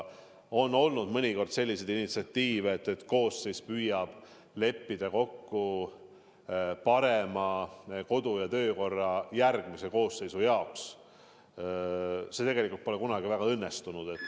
Mõnikord on isegi olnud selliseid initsiatiive, et koosseis püüab kokku leppida parema kodu- ja töökorra järgmise koosseisu jaoks, aga see pole kunagi õnnestunud.